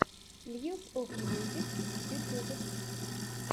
мьюс оф мьюзик ютьюб